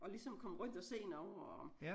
Og ligesom komme rundt og se noget og